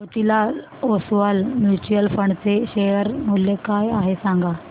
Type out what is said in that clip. Motilal Oswal mutual fund चे share मूल्य काय आहे सांगा